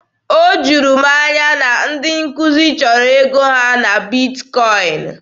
O juru m anya na ndị nkuzi chọrọ ego ha na Bitkọin.